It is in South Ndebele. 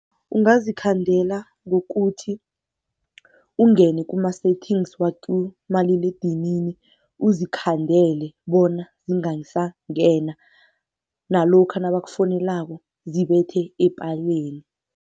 Ungazikhandela ngokuthi ungene kuma-settings wakumaliledinini uzikhandele bona zingasangena nalokha nabakufonelako zibethe epaleni.